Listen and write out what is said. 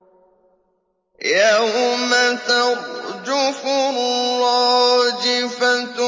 يَوْمَ تَرْجُفُ الرَّاجِفَةُ